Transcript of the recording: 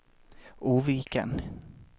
Oviken